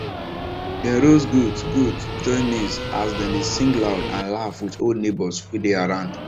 dem roast goat goat joy maize as dem dey sing loud and laugh with old neighbours wey dey around